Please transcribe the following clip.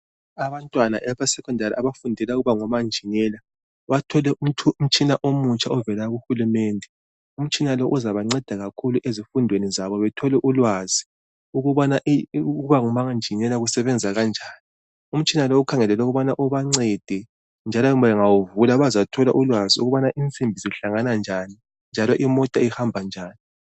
Abantwana abesekhondari abafundela ukuba ngomanjinela bathole umtshina omutsha ovela kuhulumende. Umtshina lo uzabanceda kakhulu ezifundweni zabo bethole ulwazi ukubana ukubangu manjinela kusebenza kanjani. Umtshina lo kukhangelelwe ukuthi ubancede njalo bangawuvula bazathola ulwazi ukuthi insimbi zihlangana, njani imota uhamba njani.